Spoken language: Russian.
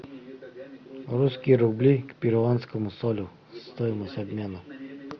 русские рубли к перуанскому солю стоимость обмена